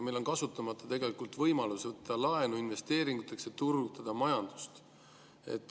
Meil on kasutamata võimalus võtta laenu investeeringuteks, et turgutada majandust.